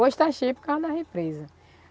Hoje está cheio por causa da represa.